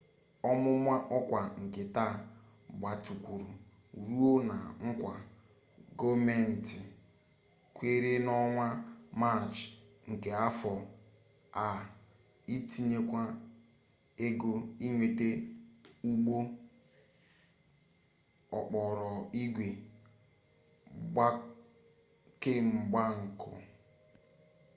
ọmụma ọkwa nke taa gbatịkwuru ruo na nkwa gọọmenti kwere n'ọnwa maachị nke afọ a itinyekwu ego inweta ụgbọ okporoigwe kemgbako